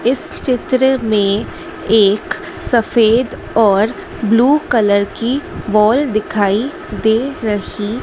इस चित्र में एक सफेद और ब्लू कलर की वॉल दिखाई दे रही--